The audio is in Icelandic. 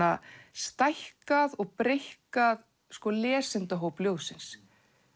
stækkað og breikkað lesendahóp ljóðsins